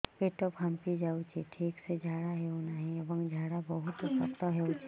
ପେଟ ଫାମ୍ପି ଯାଉଛି ଠିକ ସେ ଝାଡା ହେଉନାହିଁ ଏବଂ ଝାଡା ବହୁତ ଶକ୍ତ ହେଉଛି